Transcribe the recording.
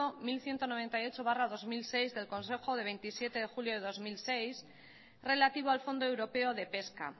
mil ciento noventa y ocho barra dos mil seis del consejo de veintisiete de julio del dos mil seis relativo al fondo europeo de pesca